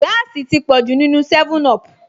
Gáàsì ti pọ̀jù nínúu 7up